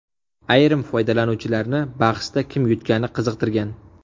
Ayrim foydalanuvchilarni bahsda kim yutgani qiziqtirgan.